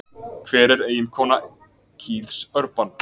Hver er eiginkona Keiths Urban?